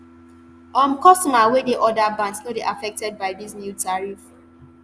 um customers wey dey oda bands no dey affected by dis new tariff